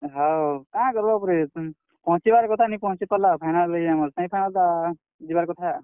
ହଁ, କାଁ କର୍ ବ ପରେ, ପହଁଚିବାର୍ କଥା ନି ପହଁଚି ପାର୍ ଲା ଆଉ final ରେ ଆମର୍ semifinal ତ, ଯିବାର୍ କଥା।